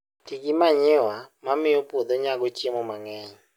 Ti gi manyiwa mamiyo puodho nyago chiemo mang'eny